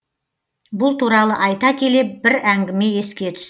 бұл туралы айта келе бір әңгіме еске түсті